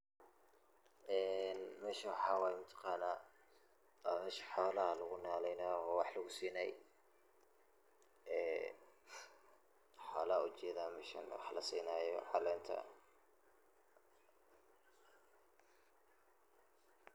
Ee meshan waxaa waye ma taqanaa waa mesha xoolaha lagu nolaynayo oo wax lagu sinaay ,ee xoola ujedaa meshan la sinaayo caleenta .